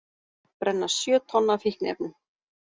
Brenna sjö tonn af fíkniefnum